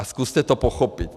A zkuste to pochopit!